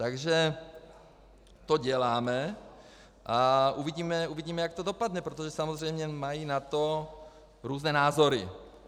Takže to děláme a uvidíme, jak to dopadne, protože samozřejmě mají na to různé názory.